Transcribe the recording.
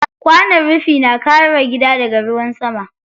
Kwanon rufi na kare gida daga ruwan sama.